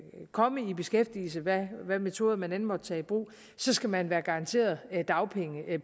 komme i beskæftigelse hvad hvad metoder man end måtte tage i brug skal man være garanteret dagpenge